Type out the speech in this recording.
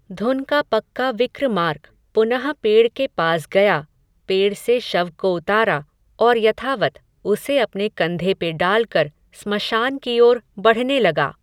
धुन का पक्का विक्रमार्क, पुनः पेड़ के पास गया, पेड़ से शव को उतारा, और यथावत्, उसे अपने कंधे पे डालकर, स्मशान की ओर बढ़ने लगा